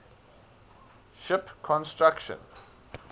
ship construction